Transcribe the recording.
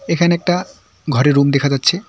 এখানে একটা ঘরে রুম দেখা যাচ্ছে।